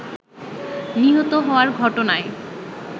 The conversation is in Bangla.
নিহত হওয়ার ঘটনায়